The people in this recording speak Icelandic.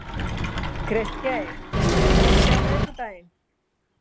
Kristgeir, er bolti á miðvikudaginn?